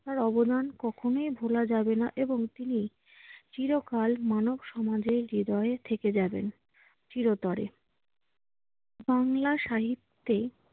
তার অবদান কখনোই ভুলা যাবে না এবং তিনি চিরকাল মানব সমাজের হৃদয়ে থেকে যাবেন চিরতরে। বাংলা সাহিত্যে